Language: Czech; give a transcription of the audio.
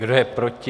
Kdo je proti?